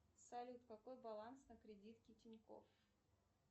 салют какой баланс на кредитке тинькофф